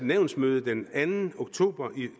nævnsmøde den anden oktober